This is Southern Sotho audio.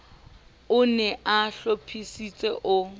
o ne a hlophisitse o